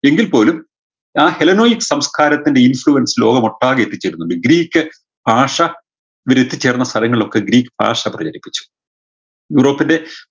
എങ്കിൽ പോലും ആ healenoix സംസ്കാരത്തിൻറെ influence ലോകമൊട്ടാകെ എത്തിച്ചിരുന്നു ഈ ഗ്രീക്ക് ഭാഷ ഇവരെത്തിച്ചേർന്ന സ്ഥലങ്ങളിലൊക്കെ ഗ്രീക്ക് ഭാഷ പ്രചരിപ്പിച്ചു ഗ്രീക്കിൻറെ